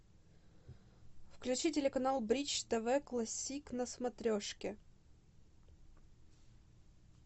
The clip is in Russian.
включи телеканал бридж тв классик на смотрешке